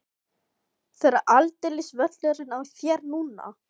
Það er aldeilis völlurinn á þér núna!